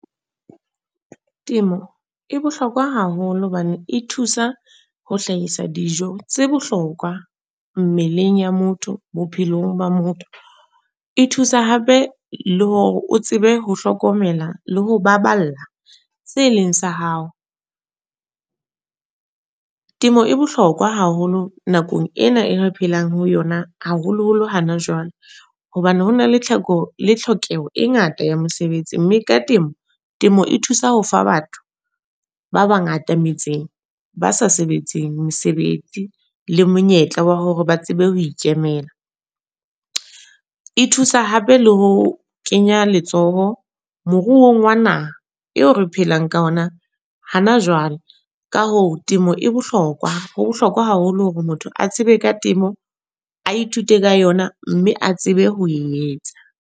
Temo, e bohlokwa haholo hobane e thusa ho hlahisa dijo, tse bohlokwa mmeleng ya motho, bophelong ba motho. E thusa hape le hore o tsebe ho hlokomela le ho baballa se leng sa hao. Temo e bohlokwa haholo nakong ena e re phelang ho yona, haholo holo hana jwale. Hobane hona le tlheko le tlhokeho e ngata ya mosebetsi. Mme ka temo, temo e thusa ho fa batho ba bangata metseng ba sa sebetseng mesebetsi. Le monyetla wa hore ba tsebe ho ikemela. E thusa hape le ho kenya letsoho moruo wa naha, eo re phelang ka ona hana jwale. Ka hoo temo e bohlokwa. Ho bohlokwa haholo hore motho a tsebe ka temo. A ithute ka yona, mme a tsebe ho e etsa.